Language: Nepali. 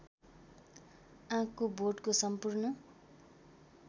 आँकको बोटको सम्पूर्ण